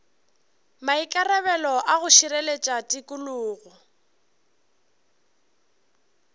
maikarabelo a go šireletša tikologo